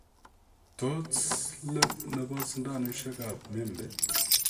tos, let nepo sindanosiek ap membe?